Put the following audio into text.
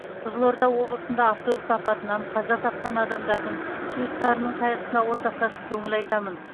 қызылорда облысында автобус апатынан қаза тапқан адамдардың туыстарының қайғысына ортақтасып көңіл айтамын